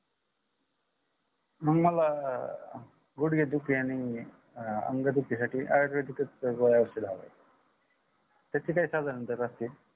मग मला गुडगेदुखी आणि अंग दुखीसाठी आयुर्वेदिकच गोळ्या औषध हवे आहे त्याचे काय साधारण दर असतील